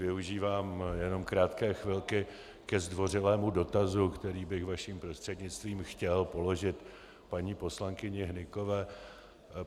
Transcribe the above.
Využívám jenom krátké chvilky ke zdvořilému dotazu, který bych vaším prostřednictvím chtěl položit paní poslankyni Hnykové.